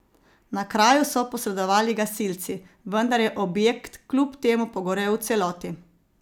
Na kraju so posredovali gasilci, vendar je objekt kljub temu pogorel v celoti.